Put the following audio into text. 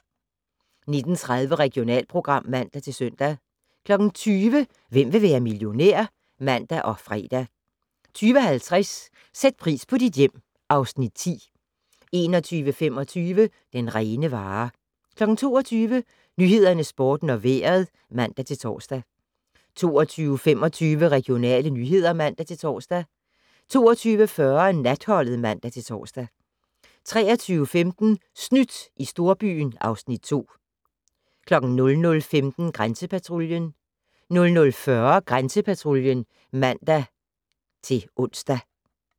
19:30: Regionalprogram (man-søn) 20:00: Hvem vil være millionær? (man og fre) 20:50: Sæt pris på dit hjem (Afs. 9) 21:25: Den rene vare 22:00: Nyhederne, Sporten og Vejret (man-tor) 22:25: Regionale nyheder (man-tor) 22:40: Natholdet (man-tor) 23:15: Snydt i storbyen (Afs. 2) 00:15: Grænsepatruljen 00:40: Grænsepatruljen (man-ons)